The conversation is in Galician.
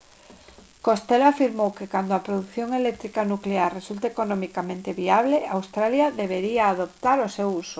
costello afirmou que cando a produción eléctrica nuclear resulte economicamente viable australia debería adoptar o seu uso